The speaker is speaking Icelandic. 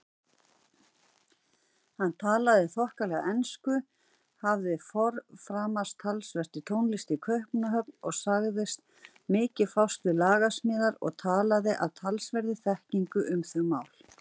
Hann talaði þokkalega ensku, hafði forframast talsvert í tónlist í Kaupmannahöfn og sagðist mikið fást við lagasmíðar og talaði af talsverðri þekkingu um þau mál.